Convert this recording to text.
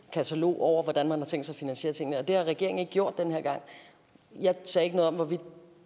katalog over hvordan man har tænkt sig at finansiere tingene og det har regeringen ikke gjort den her gang jeg sagde ikke noget om hvorvidt